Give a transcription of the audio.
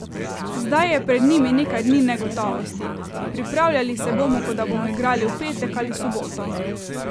Zdaj je pred njim nekaj dni negotovosti: "Pripravljali se bomo, kot da bomo igrali v petek ali soboto.